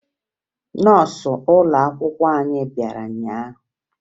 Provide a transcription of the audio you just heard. Nọọsụ ụlọakwụkwọ anyị bịara ụnyaahụ